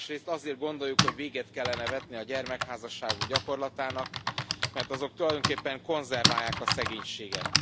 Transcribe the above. Másrészt azért gondoljuk, hogy véget kellene vetni a gyermekházasságok gyakorlatának, mert azok tulajdonképpen konzerválják a szegénységet.